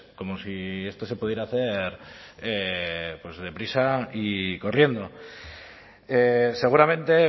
como si esto se pudiera hacer deprisa y corriendo seguramente